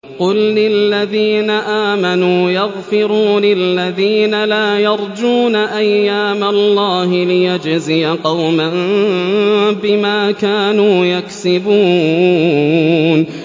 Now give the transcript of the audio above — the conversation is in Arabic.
قُل لِّلَّذِينَ آمَنُوا يَغْفِرُوا لِلَّذِينَ لَا يَرْجُونَ أَيَّامَ اللَّهِ لِيَجْزِيَ قَوْمًا بِمَا كَانُوا يَكْسِبُونَ